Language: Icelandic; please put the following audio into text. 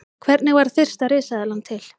Hvernig varð fyrsta risaeðlan til?